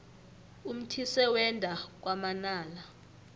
umthise wenda kwamanala